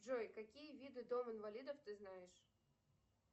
джой какие виды дом инвалидов ты знаешь